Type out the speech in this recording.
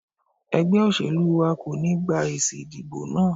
Ẹgbẹ́ olóṣèlú wa kò ní gba èsì ìdìbò náà.